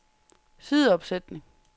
sideopsætning